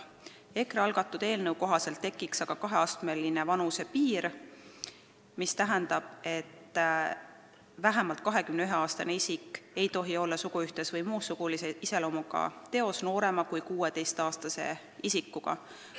EKRE algatatud eelnõu kohaselt tekiks aga kaheastmeline vanusepiir, mis tähendab, et vähemalt 21-aastane isik ei tohi olla suguühtes noorema kui 16-aastase isikuga ega panna tema suhtes toime ka muud sugulise iseloomuga tegu.